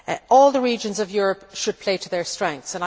All the regions of Europe should play to their strengths.